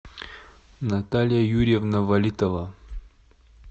наталья юрьевна валитова